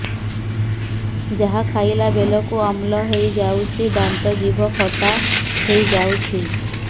ଯାହା ଖାଇଲା ବେଳକୁ ଅମ୍ଳ ହେଇଯାଉଛି ଦାନ୍ତ ଜିଭ ଖଟା ହେଇଯାଉଛି